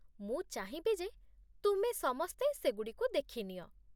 ମୁଁ ଚାହିଁବି ଯେ ତୁମେ ସମସ୍ତେ ସେଗୁଡ଼ିକୁ ଦେଖିନିଅ।